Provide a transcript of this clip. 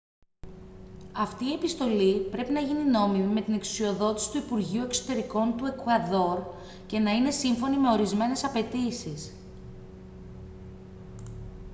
αυτή η επιστολή πρέπει να γίνει νόμιμη με την εξουσιοδότηση του υπουργείου εξωτερικών του εκουαδόρ και να είναι σύμφωνη με ορισμένες απαιτήσεις